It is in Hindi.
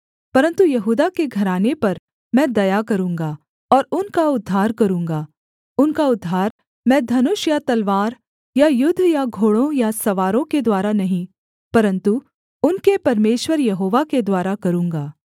परन्तु यहूदा के घराने पर मैं दया करूँगा और उनका उद्धार करूँगा उनका उद्धार मैं धनुष या तलवार या युद्ध या घोड़ों या सवारों के द्वारा नहीं परन्तु उनके परमेश्वर यहोवा के द्वारा करूँगा